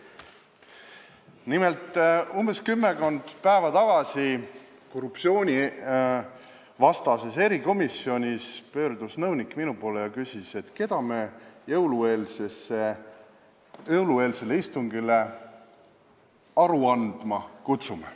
Nimelt, kümmekond päeva tagasi korruptsioonivastases erikomisjonis pöördus nõunik minu poole ja küsis, keda me jõulueelsele istungile aru andma kutsume.